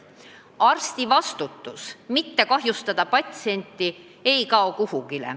Arsti vastutus mitte kahjustada patsienti ei kao kuhugi.